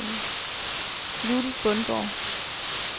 Judith Bundgaard